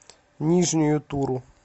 нижнюю туру